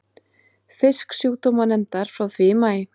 Fisksjúkdómanefndar frá því í maí.